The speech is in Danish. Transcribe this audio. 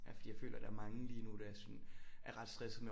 Ja fordi jeg føler der er mange lige nu der er sådan er ret stressede med